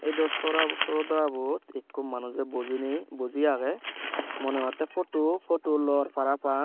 edo sora srodotabot ikko manujey bujiney buji agey moneh hotey photu photu lor parapang.